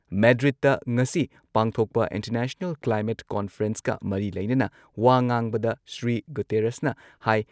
ꯃꯦꯗ꯭ꯔꯤꯗꯇ ꯉꯁꯤ ꯄꯥꯡꯊꯣꯛꯄ international climate ꯀꯣꯟꯐꯔꯦꯟꯁꯀ ꯃꯔꯤ ꯂꯩꯅꯅ ꯋꯥ ꯉꯥꯡꯕꯗ ꯁ꯭ꯔꯤ ꯒꯨꯇꯦꯔꯁꯅ ꯍꯥꯏ